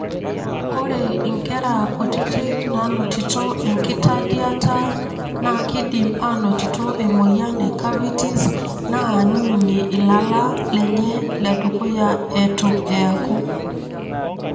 Ore inkera kutiti nanotito enkitadiata nakidim anotito emoyian e cavities na niminie ilala lenye ledukuya etu eaku.